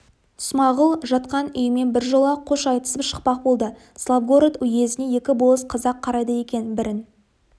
смағұл жатқан үйімен біржола қош айтысып шықпақ болды славгород уезіне екі болыс қазақ қарайды екен бірін